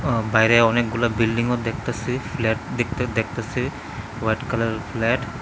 বাইরে অনেকগুলা বিল্ডিং -ও দেখতাসি ফ্ল্যাট দেখ দেখতাসি হোয়াইট কালার -এর ফ্ল্যাট ।